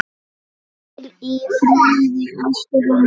Hvíl í friði, elsku Linda.